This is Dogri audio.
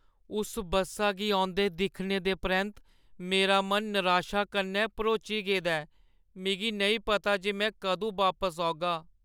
उस बस्सा गी औंदे दिक्खने दे परैंत्त, मेरा मन नराशा कन्नै भरोची गेदा ऐ। मिगी नेईं पता जे में कदूं बापस औगा।